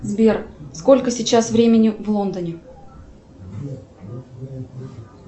сбер сколько сейчас времени в лондоне